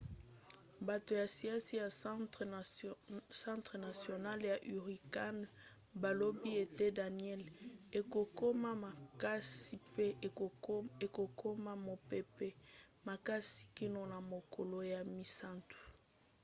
bato ya siansi ya centre national ya hurricane balobi ete danielle ekokoma makasi mpe ekokoma mopepe makasi kino na mokolo ya misato